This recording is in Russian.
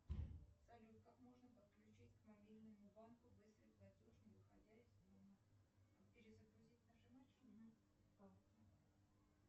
джой посмотреть